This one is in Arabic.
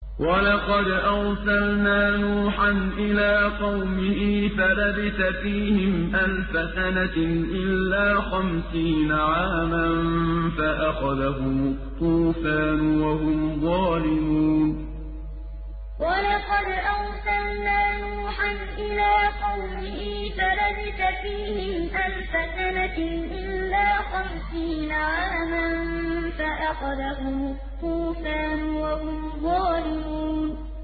وَلَقَدْ أَرْسَلْنَا نُوحًا إِلَىٰ قَوْمِهِ فَلَبِثَ فِيهِمْ أَلْفَ سَنَةٍ إِلَّا خَمْسِينَ عَامًا فَأَخَذَهُمُ الطُّوفَانُ وَهُمْ ظَالِمُونَ وَلَقَدْ أَرْسَلْنَا نُوحًا إِلَىٰ قَوْمِهِ فَلَبِثَ فِيهِمْ أَلْفَ سَنَةٍ إِلَّا خَمْسِينَ عَامًا فَأَخَذَهُمُ الطُّوفَانُ وَهُمْ ظَالِمُونَ